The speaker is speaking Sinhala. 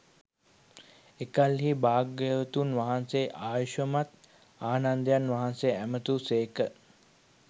එකල්හී භාග්‍යවතුන් වහන්සේ ආයුෂ්මත් ආනන්දයන් වහන්සේ ඇමතූ සේක